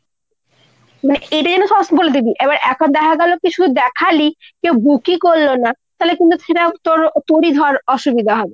মানে এটা যেন সবাইকে বলে দিবি। এখন দেখা গেলো কি তুই দেখালি কেউ book ই করলো না তালে কিন্তু সেটা তোর তোরই ধর অসুবিধা হবে।